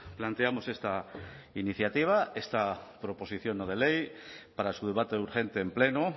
planteamos esta iniciativa esta proposición no de ley para su debate urgente en pleno